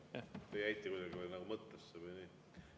Te jäite kuidagi mõttesse või nii.